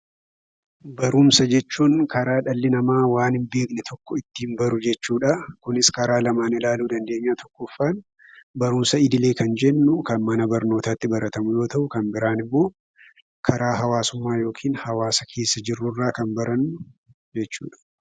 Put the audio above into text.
Barumsa jechuun karaa dhalli namaa waan hin beekne tokko ittiin baru jechuudha. Kunis karaa lamaan ilaaluu dandeenya: tokkoffaan barumsa idilee kan jennu kan mana barnootaatti baratamu yoo ta'u, kan biraan immoo karaa hawaasummaa yookiin hawaasa keessa jirru irraa kan barannu jechuudha.